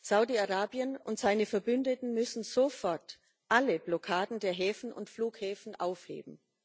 Saudi Arabien und seine Verbündeten müssen sofort alle Blockaden der Häfen und Flughäfen aufheben.